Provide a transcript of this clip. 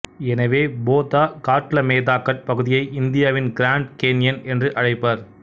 எனவே போதாகாட்லமேதாகாட் பகுதியை இந்தியாவின் கிராண்ட் கேன்யன் என்று அழைப்பர்